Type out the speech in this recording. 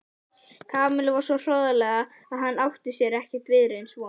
Kamillu svo hroðalega að hinn átti sér ekki viðreisnar von.